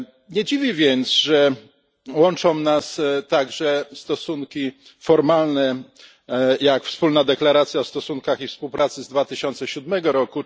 Nie dziwi więc, że łączą nas także stosunki formalne, jak wspólna deklaracja o stosunkach i współpracy z 2007 r.